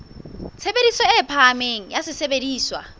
tshebediso e phahameng ya sesebediswa